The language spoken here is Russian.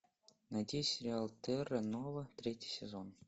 найти сериал терра нова третий сезон